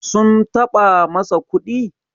sum taɓa masa kuɗi?